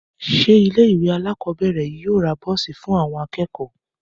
Ṣé ilé ìwé alákọ̀ọ́bẹ̀rẹ̀ yìí yóò ra bọ́ọ̀sì fún àwọn akẹ́kọ̀ọ́?